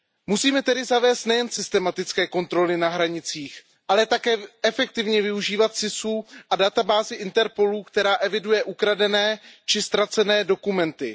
Musíme tedy zavést nejen systematické kontroly na hranicích, ale také efektivně využívat systém SIS a databázi Interpolu, která eviduje ukradené či ztracené dokumenty.